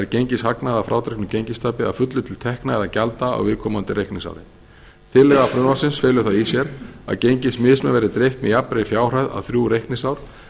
að frádregnu gengistapi að fullu til tekna eða gjalda á viðkomandi reikningsári tillaga frumvarpsins felur það í sér að gengismismun verði dreift með jafnri fjárhæð á þrjú reikningsár